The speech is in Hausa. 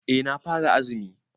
Eh na fara azumi.